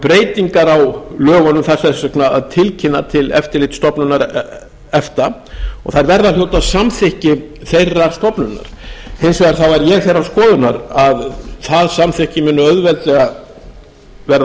breytingar á lögunum þarf þess vegna að tilkynna til eftirlitsstofnunar efta og þær verða að hljóta samþykki þeirrar stofnunar hins vegar er ég þeirrar skoðunar að það samþykkti muni auðveldlega verða